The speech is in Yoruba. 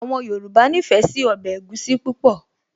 Àwọn Yorùbá nífẹ̀ẹ́ sí ọbẹ̀ egusi púpọ̀